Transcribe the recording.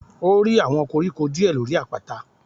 A rí àwọn koríko díè lórí àpáta.